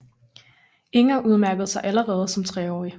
Inger udmærkede sig allerede som treårig